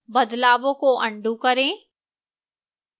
बदलावों को अन्डू करें